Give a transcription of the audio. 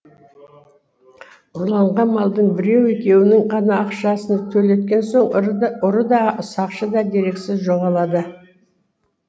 ұрланған малдың біреу екеуінің ғана ақшасын төлеткен соң ұры да сақшы да дерексіз жоғалады